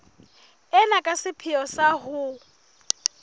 ena ka sepheo sa ho